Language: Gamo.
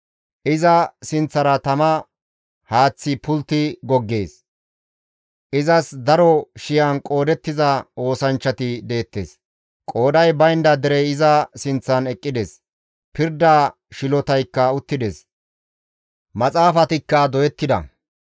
Iza sinththara tama haaththi pultti goggees; izas daro shiyan qoodettiza oosanchchati deettes; qooday baynda derey iza sinththan eqqides; pirda shilotaykka uttides; maxaafatikka doyettida.